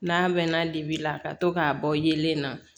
N'a mɛn na dibi la ka to k'a bɔ yelen na